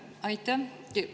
Aitäh!